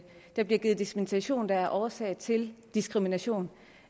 der bliver givet dispensationer der er årsag til diskrimination